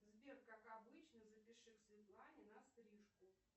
сбер как обычно запиши к светлане на стрижку